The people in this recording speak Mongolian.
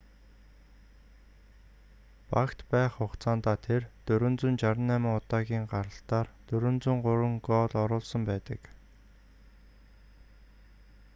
багт байх хугацаандаа тэр 468 удаагийн гаралтаар 403 гоол оруулсан байдаг